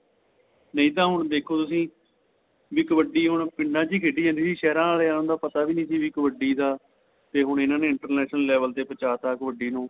ਨਹੀਂ ਤਾਂ ਦੇਖੋ ਹੁਣ ਤੁਸੀਂ ਨਹੀਂ ਕਬੱਡੀ ਹੁਣ ਪਿੰਡਾ ਵਿਚ ਖੇਡੀ ਜਾਂਦੀ ਸੀ ਸਹਿਰਾ ਆਲਿਆ ਨੂੰ ਤਾਂ ਪਤਾ ਵੀ ਨਹੀਂ ਸੀ ਕਬੱਡੀ ਦਾ ਤੇ ਹੁਣ ਇਹਨਾ ਨੇ international level ਦੇ ਪਹੁੰਚ ਤਾਂ ਕਬੱਡੀ ਨੂੰ